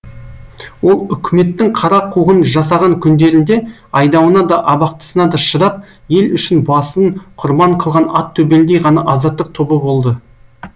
ол үкіметтің қара қуғын жасаған күндерінде айдауына да абақтысына да шыдап ел үшін басын құрбан қылған ат төбеліндей ғана азаттық тобы болды